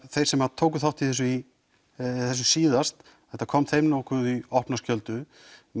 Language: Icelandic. þeir sem tóku þátt í þessu í þessu síðast þetta kom þeim nokkuð í opna skjöldu